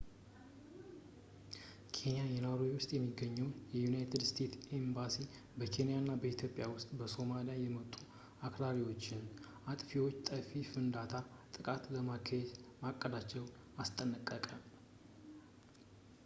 ኬንያ ናይሮቢ ውስጥ የሚገኘው የዩናይትድ ስቴትስ ኤምባሲ በኬንያ እና በኢትዮጵያ ውስጥ ከሶማሊያ የመጡ አክራሪዎች የአጥፍቶ ጠፊ ፍንዳታ ጥቃቶችን ለማካሄድ ማቀዳቸውን አስጠነቀቀ